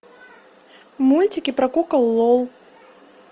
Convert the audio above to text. мультики про кукол лол